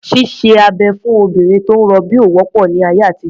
Ṣíṣe abẹ̀ fún obìnrin tó ń rọbí ò wọ́pọ̀ ní ayé àtijọ́.